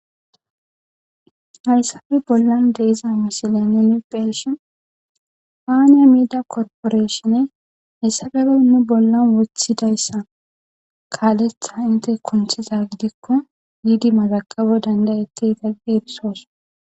Hayssappe bollan deyzza misilen nuuni beyishin fana midiya corprashin haysappe nu bollan wothizayssa kalletha hinte kunthizza gidikko bidi mazgabo dandayeteta gi erisos.